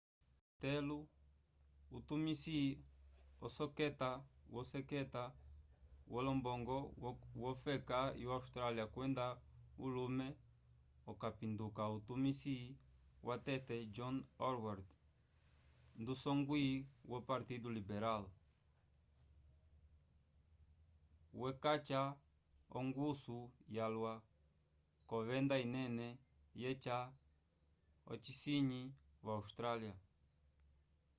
peter costello utumisi woseketa wolombongo wofeka yo austrália kwenda ulume okapinduka utumisi watete john howard ndu'songwi wopartido liberal wecaca ongusu yalwa k'ovenda inene yeca ocinyi vo-austrália